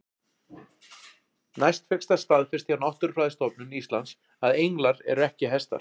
Næst fékkst það staðfest hjá Náttúrufræðistofnun Íslands að englar eru ekki hestar.